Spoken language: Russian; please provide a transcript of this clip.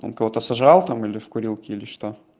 он кого-то сожрал там или в курилке или что